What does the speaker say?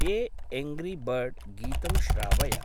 ए angry bird गीतं श्रावय।